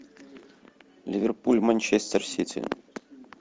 ливерпуль манчестер сити